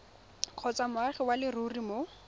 kgotsa moagi wa leruri mo